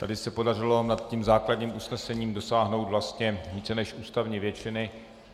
Tady se podařilo nad tím základním usnesením dosáhnout vlastně více než ústavní většiny.